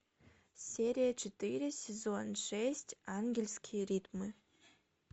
серия четыре сезон шесть ангельские ритмы